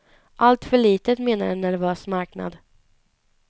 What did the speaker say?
Alltför litet menar en nervös marknad.